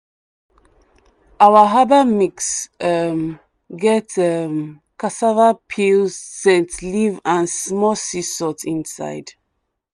our herbal mix um get um cassava peel scent leaf and small sea salt inside.